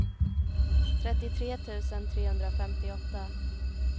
trettiotre tusen trehundrafemtioåtta